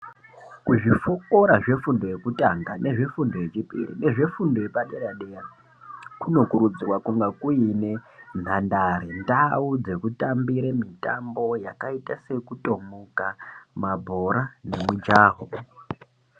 Ku zvikora zve fundo yekutanga nezve fundo yechipiri nezve fundo yepa dera dera kuno kurudzirwa kunga kuine nhandare ndau dzeku tambire mitambo yakaita seku tomuka mabhora ne mujaho.